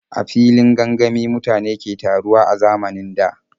A filin gangami mutane ke taruwa a zamanin da.